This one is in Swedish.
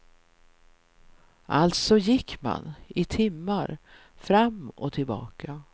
Alltså gick man, i timmar, fram och tillbaka.